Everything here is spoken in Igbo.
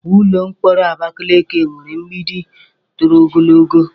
Ụlọ mkpọrọ Abakeleke nwere mgbidi toro ogologo.